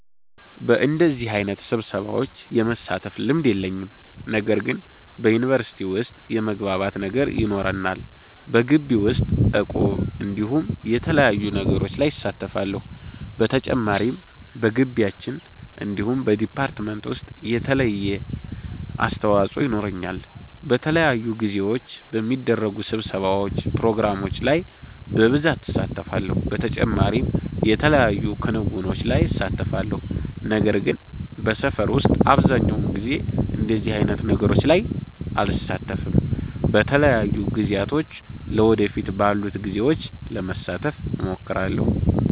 በደዚህ አይነት ስብሰሻዎች የመሳተፍ ልምድ የለኝም። ነገር ግን በዩኒቨርሲቲ ዉስጥ የመግባባት ነገር ይኖረናል። በጊቢ ዉስጥ እቁብ እንዲሁም የተለያዩ ነገሮች ላይ እሳተፋለሁ። በተጨማሪም በጊቢያችን እንዲሁም በ ዲፓርትመንት ዉሰጥ የተለያየ አስተዋፆ የኖረኛል። በተለያዩ ጊዜዎች በሚደረጉ ስብሰባዎች ፕሮግራሞች ላይ በብሳት እሳተፋለሁ። በተጨማሪም የተለያዩ ክንዉኖች ላይ እሳተፋለሁ። ነገር ግን በሰፈር ዉስጥ አብዘሃኛዉ ጊዜ እንደዚህ አይነት ነገሮች ላይ አልሳተፍም። በተለያዩ ጊዜያቶች ለ ወደፊት ባሉት ጊዜዎች ለመሳተፍ እሞክራለሁ